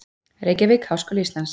Reykjavík: Háskóli Íslands.